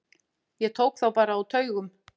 Ég tók þá bara á taugum.